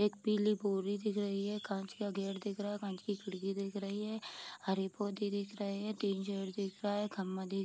एक पीली बोरी दिख रही है कांच का गेट दिख रहा है कांच की खिड़की देख रही है हरी पौधे दिख रहे हैं तीन दिख रहा है खम्बा दिख --